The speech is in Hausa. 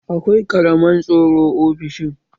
Akwai kamaran tsaro ofishin